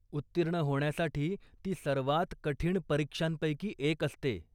उत्तीर्ण होण्यासाठी ती सर्वात कठीण परीक्षांपैकी एक असते.